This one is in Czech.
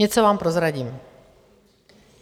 Něco vám prozradím.